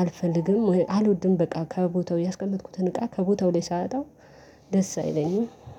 አልፈልግም አልወድም በቃ ከቦታው ያስቀመጥኩትን እቃ ከቦታው ላይ ሳያጣው። ደስ አይለኝም።